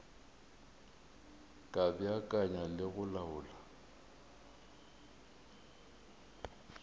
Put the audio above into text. ka beakanya le go laola